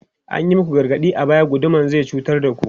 An yi muku gargaɗi a baya, guduma zai cutar da ku!